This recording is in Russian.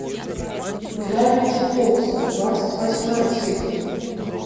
гравити фолз двадцать восьмая серия